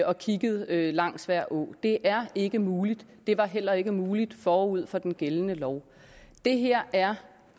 og kigget langs hver å det er ikke muligt det var heller ikke muligt forud for den gældende lov det her er